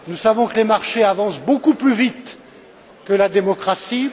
Nous savons que les marchés avancent beaucoup plus vite que la démocratie.